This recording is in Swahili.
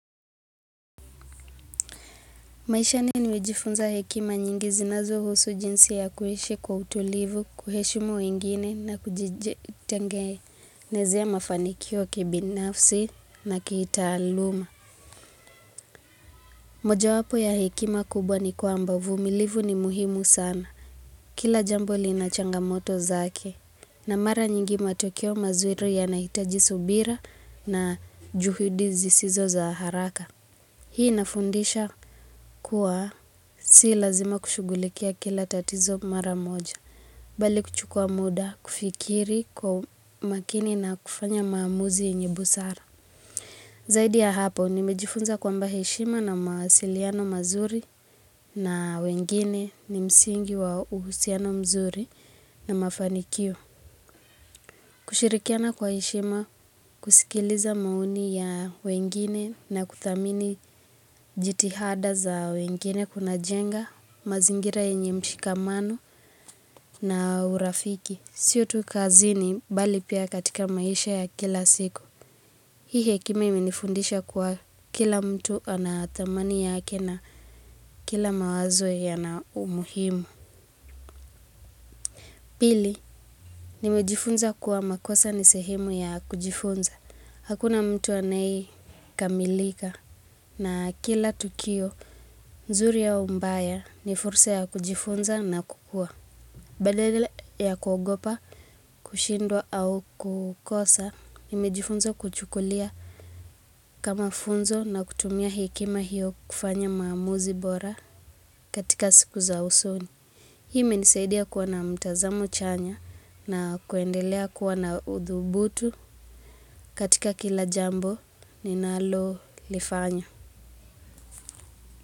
Maishani nimejifunza hekima nyingi zinazohusu jinsi ya kuishi kwa utulivu, kuheshimu wengine na kujitengenezea mafanikio kibinafsi na kitaaluma. Moja wapo ya hekima kubwa ni kwamba uvumilivu ni muhimu sana. Kila jambo lina changamoto zake. Na mara nyingi matokeo mazuri yanahitaji subira na juhudi zisizo za haraka. Hii inafundisha kuwa si lazima kushughulikia kila tatizo mara moja, bali kuchukua muda kufikiri kwa makini na kufanya maamuzi yenye busara. Zaidi ya hapa, nimejifunza kwamba heshima na mawasiliano mazuri na wengine ni msingi wa uhusiano mzuri na mafanikio. Kushirikiana kwa heshima, kusikiliza maoni ya wengine na kuthamini jitihada za wengine kuna jenga, mazingira yenye mshikamano na urafiki. Siyo tu kazini bali pia katika maisha ya kila siku. Hii hekima imenifundisha kuwa kila mtu ana thamani yake na kila mawazo yana umuhimu. Pili, nimejifunza kuwa makosa ni sehemu ya kujifunza. Hakuna mtu anaekamilika na kila tukio nzuri ya mbaya ni fursa ya kujifunza na kukua. Badala ya kuogopa, kushindwa au kukosa, nimejifunza kuchukulia kama funzo na kutumia hekima hiyo kufanya maamuzi bora katika siku za usoni. Hii imenisaidia kuwa na mtazamo chanya na kuendelea kuwa na uthubutu katika kila jambo ninalolifanya.